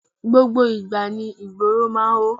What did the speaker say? Gbogbo ìgbà ni ìgboro máa ń hó.